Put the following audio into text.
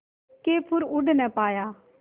के फिर उड़ ना पाया